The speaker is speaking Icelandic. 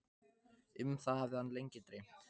Um það hafði hann lengi dreymt.